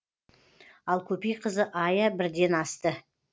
ал көпейқызы айя бірден асты